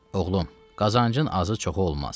Oğlum, qazancın azı-çoxu olmaz.